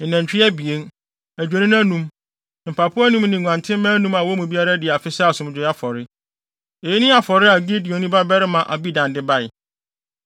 ne nantwi abien, adwennini anum, mpapo anum ne nguantenmma anum a wɔn mu biara adi afe sɛ asomdwoe afɔre. Eyi ne afɔre a Gideoni babarima Abidan de bae.